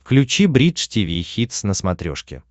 включи бридж тиви хитс на смотрешке